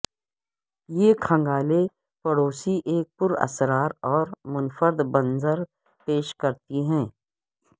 یہ کھنگالیں پڑوسی ایک پراسرار اور منفرد منظر پیش کرتی ہیں